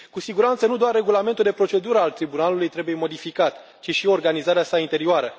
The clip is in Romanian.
Cu siguranță, nu doar Regulamentul de procedură al Tribunalului trebuie modificat, ci și organizarea sa interioară.